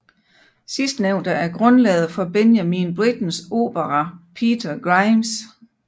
Sidstnævnte er grundlaget for Benjamin Brittens opera Peter Grimes